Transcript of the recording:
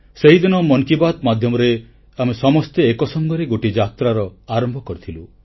ସେହିଦିନ ମନ କି ବାତ୍ ମାଧ୍ୟମରେ ଆମେ ସମସ୍ତେ ଏକସଙ୍ଗରେ ଗୋଟିଏ ଯାତ୍ରା ଆରମ୍ଭ କରିଥିଲୁ